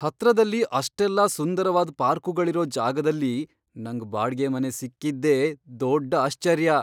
ಹತ್ರದಲ್ಲಿ ಅಷ್ಟೆಲ್ಲ ಸುಂದರವಾದ್ ಪಾರ್ಕುಗಳಿರೋ ಜಾಗದಲ್ಲಿ ನಂಗ್ ಬಾಡ್ಗೆ ಮನೆ ಸಿಕ್ಕಿದ್ದೇ ದೊಡ್ಡ್ ಆಶ್ಚರ್ಯ.